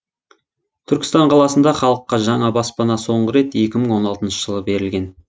түркістан қаласында халыққа жаңа баспана соңғы рет екі мың он алтыншы жылы берілген